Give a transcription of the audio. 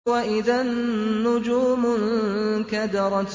وَإِذَا النُّجُومُ انكَدَرَتْ